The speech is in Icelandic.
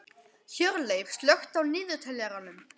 Hjörleif, slökktu á niðurteljaranum.